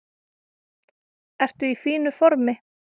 Ertu í fínu formi?